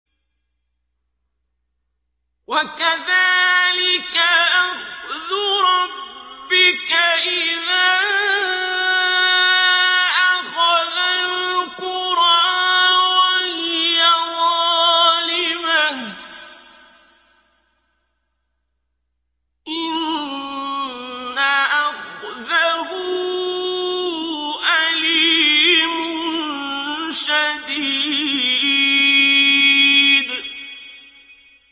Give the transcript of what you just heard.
وَكَذَٰلِكَ أَخْذُ رَبِّكَ إِذَا أَخَذَ الْقُرَىٰ وَهِيَ ظَالِمَةٌ ۚ إِنَّ أَخْذَهُ أَلِيمٌ شَدِيدٌ